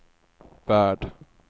värld